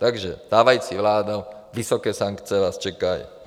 - Takže stávající vládo, vysoké sankce vás čekají.